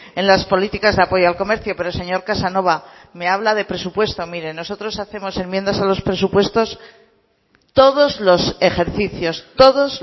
en las políticas de apoyo al comercio pero señor casanova me habla de presupuesto mire nosotros hacemos enmiendas a los presupuestos todos los ejercicios todos